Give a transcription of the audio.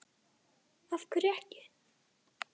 Lóa: Af hverju ekki?